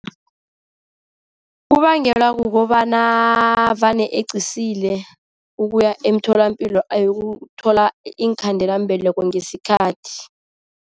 Kubangelwa kukobana vane eqisile ukuya emtholapilo ayokuthola iinkhandelambeleko ngesikhathi.